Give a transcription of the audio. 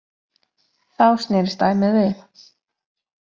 Þá snerist dæmið við.